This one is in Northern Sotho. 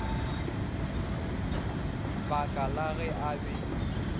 baka la ge a be